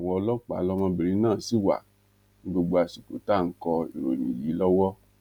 ọdọ àwọn ọlọpàá lọmọbìnrin náà ṣì wà ní gbogbo àsìkò tá à ń kọ ìròyìn yìí lọwọ